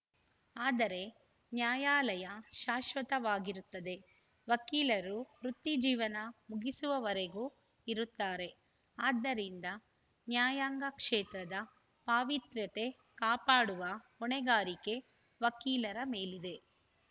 ಆದರೆ ನ್ಯಾಯಾಲಯ ಶಾಶ್ವತವಾಗಿರುತ್ತದೆ ವಕೀಲರು ವೃತ್ತಿಜೀವನ ಮುಗಿಸುವವರೆಗೂ ಇರುತ್ತಾರೆ ಆದ್ದರಿಂದ ನ್ಯಾಯಾಂಗ ಕ್ಷೇತ್ರದ ಪಾವಿತ್ರ್ಯತೆ ಕಾಪಾಡುವ ಹೊಣೆಗಾರಿಕೆ ವಕೀಲರ ಮೇಲಿದೆ